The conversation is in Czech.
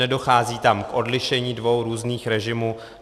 Nedochází tam k odlišení dvou různých režimů.